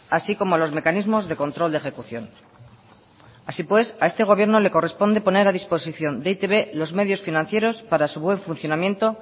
así como los mecanismos de control de ejecución así pues a este gobierno le corresponde poner a disposición de e i te be los medios financieros para su buen funcionamiento